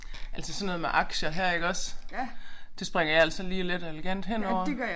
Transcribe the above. Altså sådan noget med aktier her iggås. Det springer jeg altså lige let og elegant henover